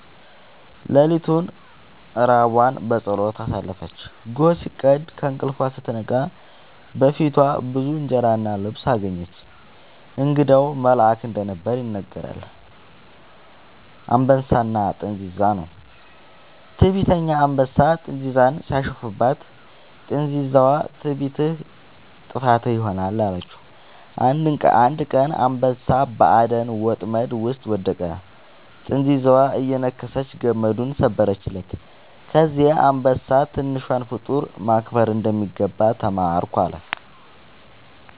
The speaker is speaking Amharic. ሌሊቱን ራቧን በጸሎት አሳለፈች። ጎህ ሲቀድ ከእንቅልፏ ስትነቃ በፊቷ ብዙ እንጀራ እና ልብስ አገኘች። እንግዳው መልአክ እንደነበር ይነገራል። «አንበሳና ጥንዚዛ» ነው። ትዕቢተኛ አንበሳ ጥንዚዛን ሲያሾፍባት፣ ጥንዚዛዋ «ትዕቢትህ ጥፋትህ ይሆናል» አለችው። አንድ ቀን አንበሳ በአደን ወጥመድ ውስጥ ወደቀ፤ ጥንዚዛዋ እየነከሰች ገመዱን ሰበረችለት። ከዚያ አንበሳ «ትንሿን ፍጡር ማክበር እንደሚገባ ተማርኩ» አለ